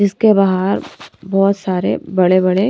इसके बाहर बहोत सारे बड़े बड़े--